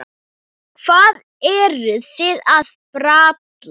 Hvað eruð þið að bralla?